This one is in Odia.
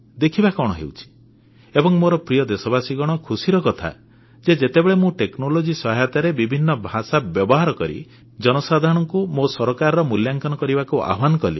ଦେଖିବା କଣ ହେଉଛି ଏବଂ ମୋର ପ୍ରିୟ ଦେଶବାସୀ ଖୁସିର କଥା ଯେ ଯେତେବେଳେ ମୁଁ ପ୍ରଯୁକ୍ତିବିଦ୍ୟା ସହାୟତାରେ ବିଭିନ୍ନ ଭାଷା ବ୍ୟବହାର କରି ଜନସାଧାରଣଙ୍କୁ ମୋ ସରକାରର ମୂଲ୍ୟାଙ୍କନ କରିବାକୁ ଆହ୍ୱାନ କଲି